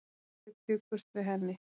Þeir bjuggust við henni.